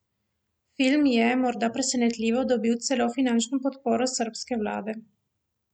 Film je, morda presenetljivo, dobil celo finančno podporo srbske vlade.